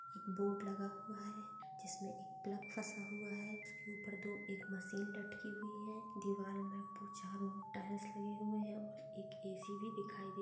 Board लगा हुआ है। जिसमे एक प्लग फसा हुआ है। उसके ऊपर दो-एक मशीन लटकी हुई है। दीवाल में ऊपर चारों ओर टाईल्स लगे हुए है और एक ए_सी भी दिखाई दे--